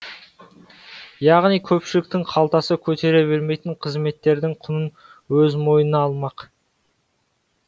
яғни көпшіліктің қалтасы көтере бермейтін қызметтердің құнын өз мойынына алмақ